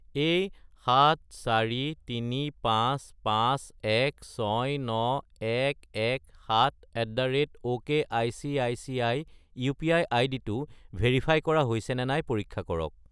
এই 74355169117@okicici UPI. আইডিটো verify কৰা হৈছেনে নাই পৰীক্ষা কৰক।